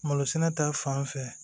Malo sɛnɛ ta fan fɛ